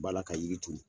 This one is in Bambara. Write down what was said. Bala ka yiri turu